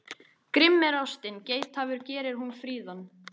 Grimm er ástin, geithafur gerir hún fríðan.